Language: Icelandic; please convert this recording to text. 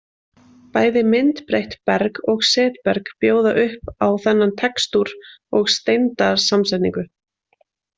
Bæði myndbreytt berg og setberg bjóða upp á þennan textúr og steindasamsetningu.